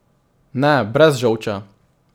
Ne brez žolča.